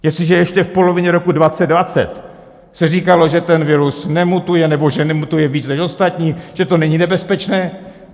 Jestliže ještě v polovině roku 2020 se říkalo, že ten virus nemutuje nebo že nemutuje víc než ostatní, že to není nebezpečné.